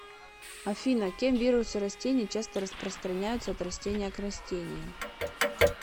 афина кем вирусы растений часто распространяются от растения к растению